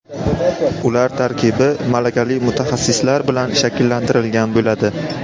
Ular tarkibi malakali mutaxassislar bilan shakllantirilgan bo‘ladi.